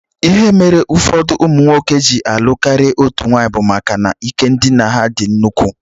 Ihe mere ụfọdụ ụmụnwoke ji alụ karịa otú nwaanyị bụ maka na ike ndina ha dị nnukwu